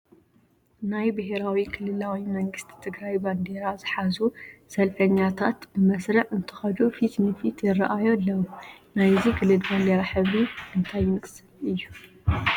ናይ ብሄራዊ ክልላዊ መንግስቲ ትግራይ ባንዲራ ዝሓዙ ሰልፈኛታት ብመስርዕ እንትኸዱ ፊት ንፊት ይርአዩ ኣለዉ፡፡ ናይዚ ክልል ባንዲራ ሕብሪ እንታይ ዝመስል እዩ?